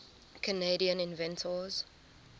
canadian inventors